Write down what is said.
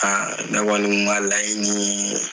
Aa ne kɔni tun ka laɲini ye